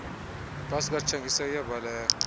bhasi katshangisa iyabaleka